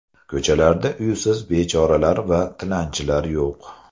Ko‘chalarda uysiz bechoralar va tilanchilar yo‘q.